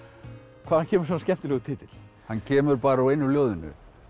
hvaðan kemur svona skemmtilegur titill hann kemur bara úr einu ljóðinu